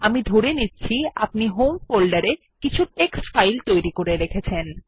আমি ধরে নিচ্ছি আপনি হোম ফোল্ডারে কিছু টেক্সট ফাইল তৈরী করে রেখেছেন